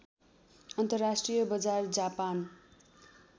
अन्तर्राष्ट्रिय बजार जापान